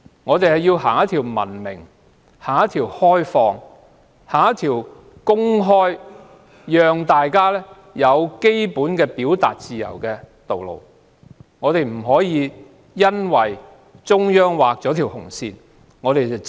我們應要文明、開放及公開地讓大家有基本的表達自由，不應只會緊緊跟隨中央劃下的紅線。